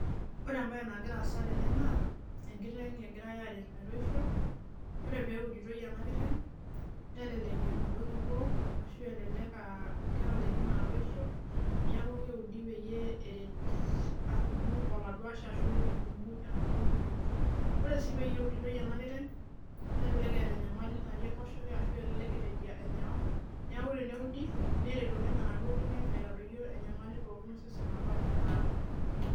Ore embae nagira asa tene na enkiteng egirae aret metoisho. Ore peyie eudutoi enakiteng nelelek emudong ibo ashu elelek aa ketalaikini aa toisho niaku keudi peyie eret atumu oladuashe ashum etumu enaduo mudong. Ore si pe uditoi enakiteng kelelek etaa enyamali nati enkoshoke ashu elek itaji enyor niaku teneudi nelek oleng enaduo nkiteng arodoyio enyamali pokin osesen apa neniata.